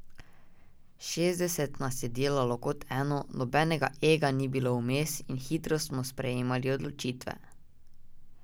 Štirideset nas je delalo kot eno, nobenega ega ni bilo vmes in hitro smo sprejemali odločitve.